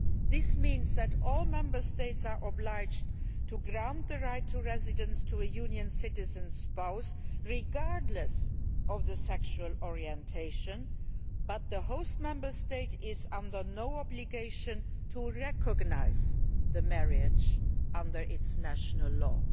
This means that all Member States are obliged to grant the right of residence to a Union citizen's spouse regardless of sexual orientation, but the host Member State is under no obligation to recognise the marriage under its national law.